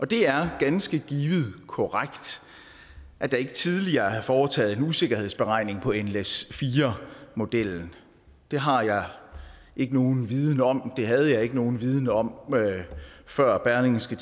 det er ganske givet korrekt at der ikke tidligere er foretaget en usikkerhedsberegning på nles4 modellen det har jeg ikke nogen viden om det havde jeg ikke nogen viden om før berlingske